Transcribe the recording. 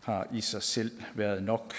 har i sig selv været nok